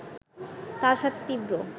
তার সাথে তীব্র